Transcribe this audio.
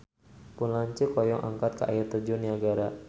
Pun lanceuk hoyong angkat ka Air Terjun Niagara